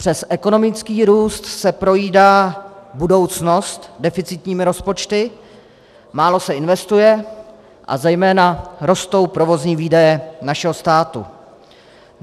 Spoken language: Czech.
Přes ekonomický růst se projídá budoucnost deficitními rozpočty, málo se investuje a zejména rostou provozní výdaje našeho státu.